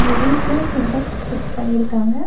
வீட்ல சின்டெக்ஸ் பிக்ஸ் பண்ணி இருக்காங்க.